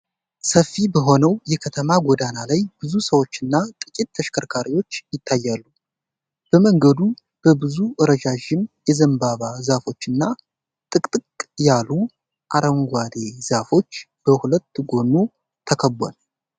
ሰፊ በሆነው የከተማ ጎዳና ላይ ብዙ ሰዎችና ጥቂት ተሽከርካሪዎች ይታያሉ። መንገዱ በብዙ ረዣዥም የዘንባባ ዛፎችና ጥቅጥቅ ያሉ አረንጓዴ ዛፎች በሁለት ጎኑ ተከቧል።